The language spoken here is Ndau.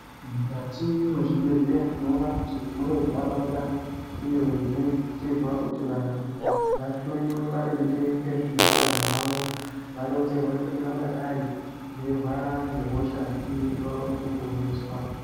Mukati mezvibhedhlera tinoona kuti munentaraunda iyo inoitirwa kuti vantu vahloyiwe maringe ngezveutano hwavo, varonzerwe kuti vangadai veirwara ngehosha iri vaone kuponeswa.